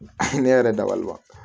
hinɛ yɛrɛ dabaliba